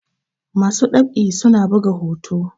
masu ɗab'i suna buga hoto